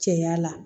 Cɛya la